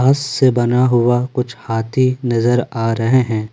घास से बना हुआ कुछ हाथी नजर आ रहे हैं।